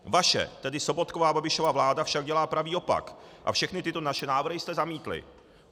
Vaše, tedy Sobotkova a Babišova vláda, však dělá pravý opak a všechny tyto naše návrhy jste zamítli.